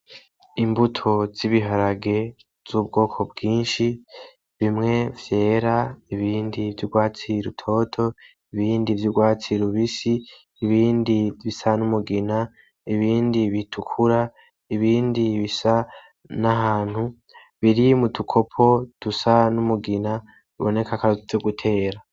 Imbuto z’ibiharage z’ubwoko bwinshi . Bimwe vyera, ibindi vy’urwatsi rutoto , ibindi vy’urwatsi rubisi, ibindi bisa n’umugina , ibindi bitukura ibindi bisa n’ahantu biri mudukopo bisa n’umugina biboneka kwaritwo gutera.